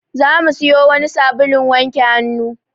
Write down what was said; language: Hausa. Za mu siyo wani sabulun wanke hannu.